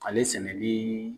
Ale sɛnɛli